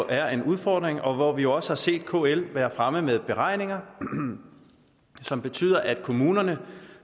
er en udfordring og hvor vi også har set kl være fremme med beregninger som betyder at kommunerne